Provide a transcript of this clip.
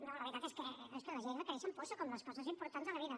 no la veritat és que les lleis requereixen pòsit com les coses importants de la vida